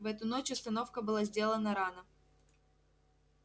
в эту ночь остановка была сделана рано